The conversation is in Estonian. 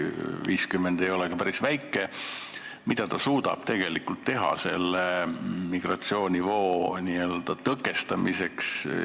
50 ei ole ka päris väike arv, aga mida nad suudavad tegelikult teha selle migratsioonivoo tõkestamiseks?